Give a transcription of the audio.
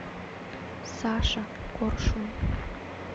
саша коршун